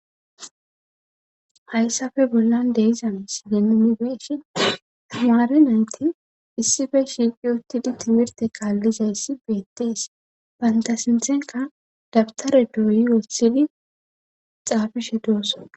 hayssafe bollan deiza misilenunibe,ishin hamaare naynti issife shiqi uttidi timirte qaallizayssi beettees banta sinthenka dabtare dooyi wossidi xaafishe doossa